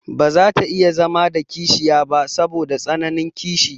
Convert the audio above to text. Baza ta iya zama da kishiya ba saboda tsananin kishi.